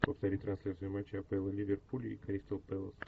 повтори трансляцию матча апл ливерпуль и кристал пэлас